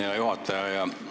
Hea juhataja!